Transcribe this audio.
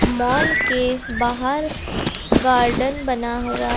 माल के बाहर गार्डन बना हुआ है।